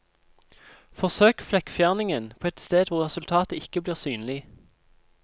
Forsøk flekkfjerningen på et sted hvor resultatet ikke blir synlig.